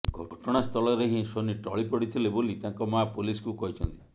ଘଟଣାସ୍ଥଳରେ ହିଁ ସୋନୀ ଟଳିପଡ଼ିଥିଲେ ବୋଲି ତାଙ୍କ ମା ପୋଲିସ୍କୁ କହିଛନ୍ତି